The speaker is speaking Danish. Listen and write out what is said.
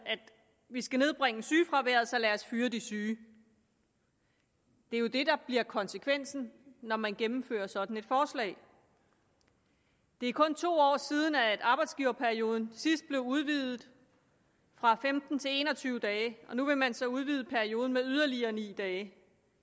vi skal nedbringe sygefraværet så lad os fyre de syge det er jo det der bliver konsekvensen når man gennemfører sådan et forslag det er kun to år siden arbejdsgiverperioden sidst blev udvidet fra femten til en og tyve dage og nu vil man så udvide perioden med yderligere ni dage